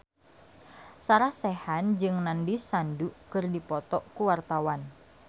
Sarah Sechan jeung Nandish Sandhu keur dipoto ku wartawan